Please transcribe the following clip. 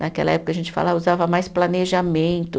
Naquela época, a gente falava, usava mais planejamento.